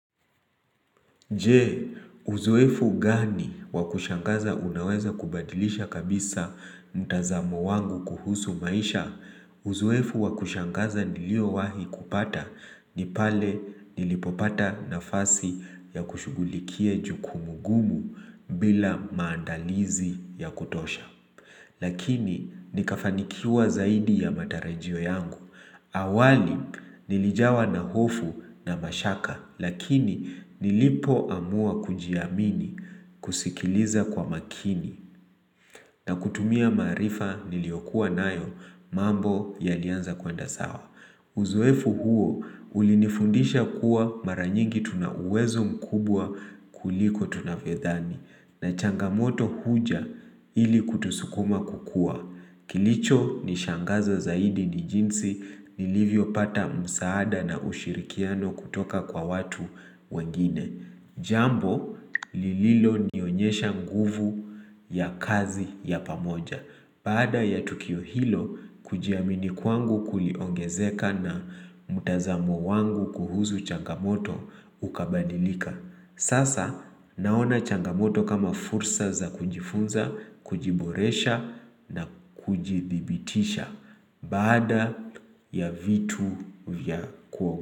Je, uzoefu gani wakushangaza unaweza kubadilisha kabisa mtazamo wangu kuhusu maisha? Uzoefu wakushangaza nilio wahi kupata ni pale nilipopata na fasi ya kushughulikia jukumugumu bila maandalizi ya kutosha. Lakini nikafanikiwa zaidi ya matarajio yangu. Awali nilijawa na hofu na mashaka lakini nilipo amua kujiamini kusikiliza kwa makini na kutumia maarifa niliokuwa nayo mambo ya lianza kuenda sawa. Uzoefu huo ulinifundisha kuwa maranyingi tuna uwezo mkubwa kuliko tunavyodhani na changamoto huja ili kutusukuma kukua. Kilicho ni shangaza zaidi ni jinsi ni livyo pata msaada na ushirikiano kutoka kwa watu wengine. Jambo lililo nionyesha nguvu ya kazi ya pamoja Baada ya Tukio Hilo kujiamini kwangu kuliongezeka na mtazamo wangu kuhusu changamoto ukabadilika Sasa naona changamoto kama fursa za kujifunza, kujiboresha na kujithibitisha Baada ya vitu vyako.